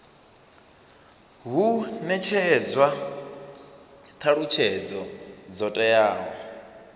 hu netshedzwa thalutshedzo dzo teaho